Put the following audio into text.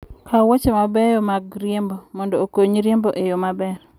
Kaw wuoche mabeyo mag riembo mondo okonyi riembo e yo maber.